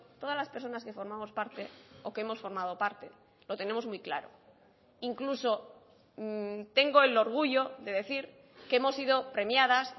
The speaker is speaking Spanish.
todas las personas que formamos parte o que hemos formado parte lo tenemos muy claro incluso tengo el orgullo de decir que hemos sido premiadas